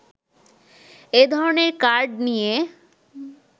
এ ধরণের কার্ড নিয়ে